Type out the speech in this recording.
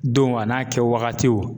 Donw a n'a kɛ wagatiw